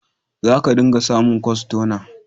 Za ka dinga samun kwastona.